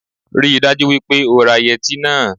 Rí i dájú wípé o ra yẹtí náà